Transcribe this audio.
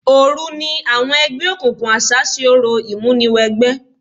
Òru ni àwọn ẹgbẹ́ òkùnkùn àṣá ṣe orò ìmúniwẹgbẹ́.